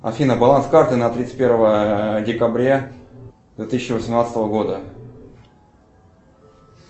афина баланс карты на тридцать первое декабря две тысячи восемнадцатого года